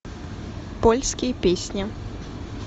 польские песни